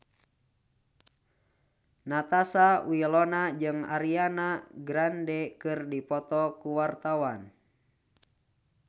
Natasha Wilona jeung Ariana Grande keur dipoto ku wartawan